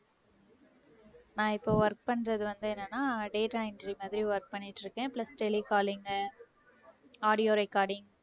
நான் இப்ப work பண்றது வந்து என்னன்னா data entry மாதிரி work பண்ணிட்டு இருக்கேன் plus tele calling உ audio recording